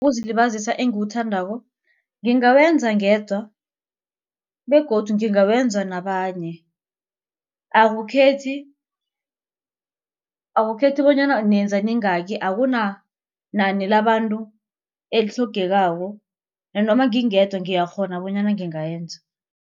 Ukuzilibazisa engiwuthandako ngingawenza ngedwa begodu ngingawenza nabanye. Akukhethi akukhethi bonyana nenza niyingaki akunanani labantu elitlhogekako nanoma ngingedwa ngiyakghona bonyana ngingayenza.